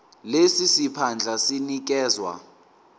lesi siphandla sinikezwa